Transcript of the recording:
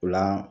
O la